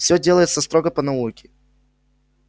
все делается строго по науке